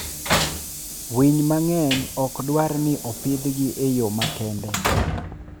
Winy mang'eny ok dwar ni opidhgi e yo makende.